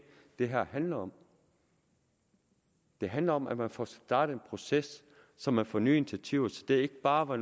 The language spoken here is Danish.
det her handler om det handler om at man får startet en proces så man får nye initiativer så det ikke bare